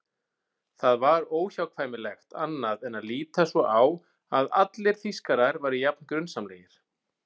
Það var óhjákvæmilegt annað en að líta svo á að allir Þýskarar væru jafn grunsamlegir.